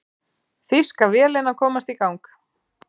Þýska vélin að komast í gang